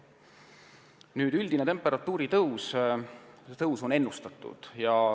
Ennustatud on üldist temperatuuritõusu.